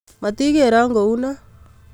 Motikeron kounon